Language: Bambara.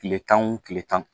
Kile tan wo kile tan